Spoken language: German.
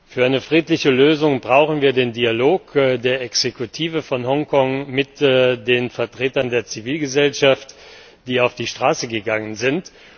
Für eine friedliche Lösung brauchen wir den Dialog der Exekutive von Hongkong mit den Vertretern der Zivilgesellschaft, die auf die Straße gegangen sind.